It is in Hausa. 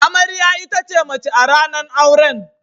Amarya ita ce mace a ranan auren.